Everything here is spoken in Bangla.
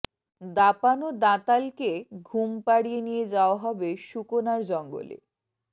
দাপানো দাঁতালকে ঘুম পাড়িয়ে নিয়ে যাওয়া হবে সুকনার জঙ্গলে